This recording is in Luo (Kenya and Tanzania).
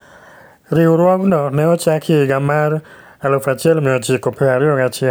Riwruogno ne ochaki e higa mar 1921.